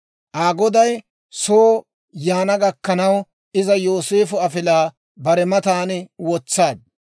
Aa goday soo yaana gakkanaw iza Yooseefo afilaa bare matan wotsaaddu.